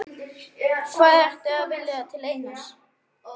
Hvað ertu að vilja til Einars?